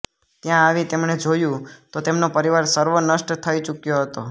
ત્યાં આવી તેમણે જોયું તો તેમનો પરિવાર સર્વ નષ્ટ થઈ ચુક્યો હતો